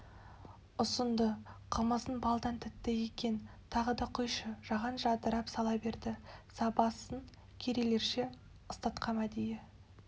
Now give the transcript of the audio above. ұсынды қымызың балдан тәтті екен тағы да құйшы жаған жадырап сала берді сабасын керейлерше ыстатқам әдейі